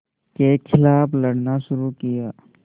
के ख़िलाफ़ लड़ना शुरू किया